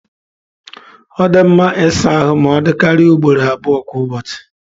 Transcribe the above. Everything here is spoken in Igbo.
Ọ dị mma ịsa ahụ ma ọ dịkarịa ugboro abụọ kwa ụbọchị.